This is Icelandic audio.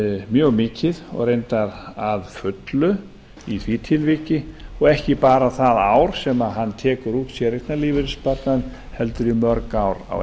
mjög mikið og reyndar að fullu í því tilviki og ekki bara það ár sem hann tekur út séreignarlífeyrissparnaðinn heldur í mörg ár á